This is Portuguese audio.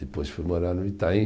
Depois fui morar no Itaim.